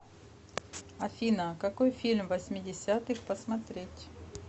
афина какой фильм восьмидесятых посмотреть